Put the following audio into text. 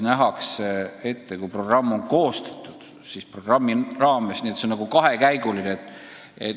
Ja kui programm on koostatud, siis see on nagu kahekäiguline.